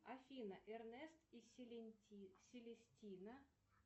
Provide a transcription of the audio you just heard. афина эрнест и селестина